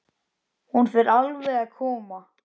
Hún fer alveg að koma.